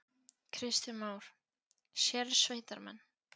Kristján Már: Sérsveitarmenn?